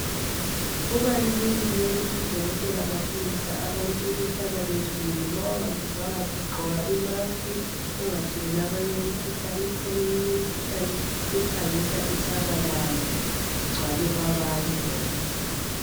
Kubalulekile ukuthi odokotela bafundise abantu ukuhlala bezivikele ma ungazizwa kahle gqoka imask ungatheleli abanye imkhuhlane ikhona eminye imkhuhlane ephangisa isabalale igcwale kwabanye ngokuphangisa.